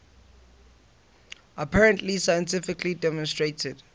apparently scientifically demonstrated